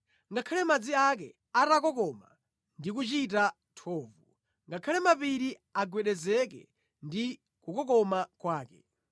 ngakhale madzi ake atakokoma ndi kuchita thovu, ngakhale mapiri agwedezeke ndi kukokoma kwake.